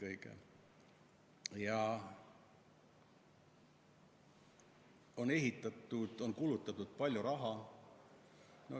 On ümber ehitatud, on kulutatud palju raha.